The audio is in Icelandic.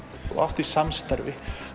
og átt í samstarfi